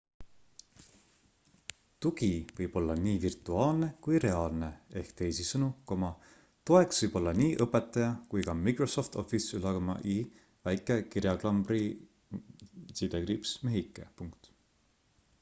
tugi võib olla nii virtuaalne kui reaalne ehk teisisõnu toeks võib olla nii õpetaja kui ka microsoft office'i väike kirjaklambri-mehike